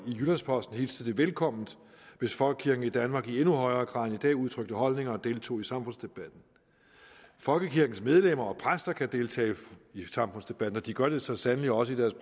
jyllands posten hilste det velkomment hvis folkekirken i danmark i endnu højere grad end i dag udtrykte holdninger og deltog i samfundsdebatten folkekirkens medlemmer og præster kan deltage i samfundsdebatten og de gør det så sandelig også i deres